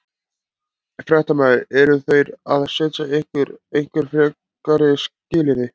Fréttamaður: Eru þeir að setja ykkur einhver frekari skilyrði?